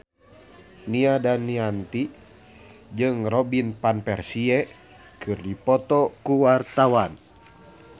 Nia Daniati jeung Robin Van Persie keur dipoto ku wartawan